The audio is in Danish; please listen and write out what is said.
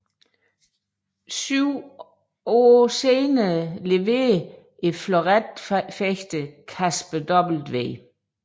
Syv år senere leverede fleuretfægteren Kasper W